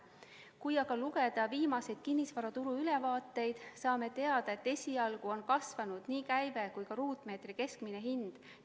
Kui aga lugeda viimaseid kinnisvaraturu ülevaateid, siis saame teada, et esialgu on kasvanud nii käive kui ka ruutmeetri keskmine hind.